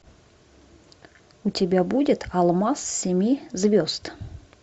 у тебя будет алмаз семи звезд